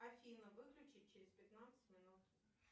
афина выключить через пятнадцать минут